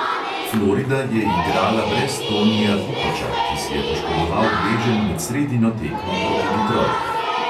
Florida je igrala brez tonija kukoča, ki si je poškodoval gleženj med sredino tekmo proti ditrojtu.